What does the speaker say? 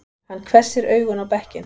Hann hvessir augun á bekkinn.